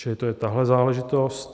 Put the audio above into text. Čili to je tahle záležitost.